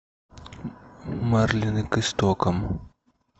марлины к истокам